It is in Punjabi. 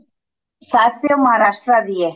ਸੱਸ ਈ Maharashtra ਦੀ ਏ